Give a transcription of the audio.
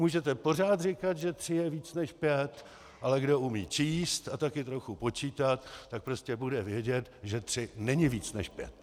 Můžete pořád říkat, že tři je víc než pět, ale kdo umí číst a taky trochu počítat, tak prostě bude vědět, že tři není víc než pět.